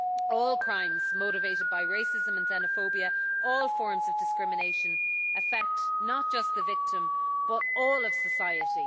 All crimes motivated by racism and xenophobia all forms of discrimination affect not just the victim, but all of society.